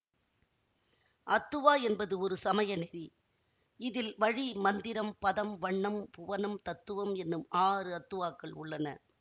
அத்துவா என்பது ஒரு சமயநெறி இதில் வழி மந்திரம் பதம் வண்ணம் புவனம் தத்துவம் என்னும் ஆறு அத்துவாக்கள் உள்ளன